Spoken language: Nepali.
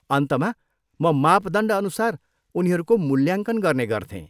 अन्तमा, म मापदण्डअनुसार उनीहरूको मूल्याङ्कन गर्ने गर्थेँ।